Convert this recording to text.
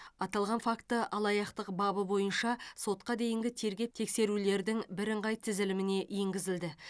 аталған факті алаяқтық бабы бойынша сотқа дейінгі тергеп тексерулердің бірыңғай тізіліміне енгізілді